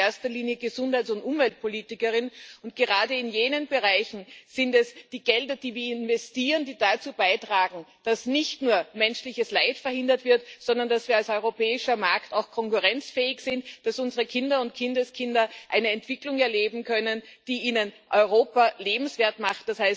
Ich bin in erster Linie Gesundheits und Umweltpolitikerin, und gerade in jenen Bereichen sind es die Gelder, die wir investieren, die dazu beitragen, dass nicht nur menschliches Leid verhindert wird, sondern dass wir als europäischer Markt auch konkurrenzfähig sind, dass unsere Kinder und Kindeskinder eine Entwicklung erleben können, die ihnen Europa lebenswert macht.